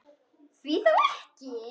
Því þá ekki?